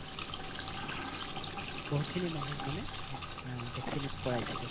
বহুখিনি মানুহ মানে vaccinate কৰাইছিলো